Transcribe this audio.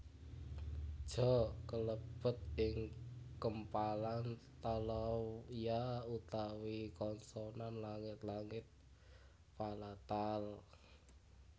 Ja kalebet ing kempalan talawya utawi konsonan langit langit palatal